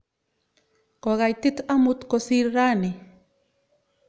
Kokaitit amut kosir raini.